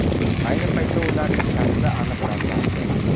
Ayni paytda ularning shaxsi aniqlanmoqda.